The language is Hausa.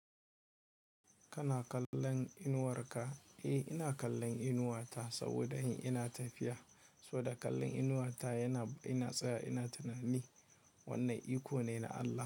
Kana kallon inuwar ka? Eh, ina kallon inuwata saboda in ina tafiya. Saboda kallon inuwata yana ina tsayawa ina tunani. Wannan iko ne na Allah.